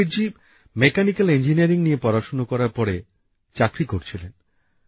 Ram Bir ji mechanical engineering নিয়ে পড়াশোনা করার পরে চাকরি করছিলেন